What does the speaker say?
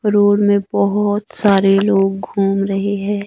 Road में बहोत सारे लोग घूम रहे हैं।